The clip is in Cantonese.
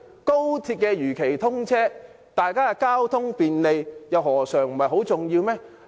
高鐵如期通車，大家交通便利，又何嘗不是很重要？